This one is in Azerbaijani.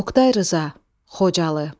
Oqtay Rza, Xocalı.